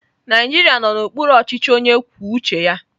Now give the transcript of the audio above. Naijiria nọ n'okpuru ọchịchị onye kwuo uche ya.